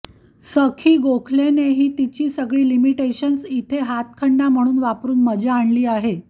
सखी गोखलेनेही तिची सगळी लिमिटेशन्स इथे हातखंडा म्हणून वापरून मजा आणली आहे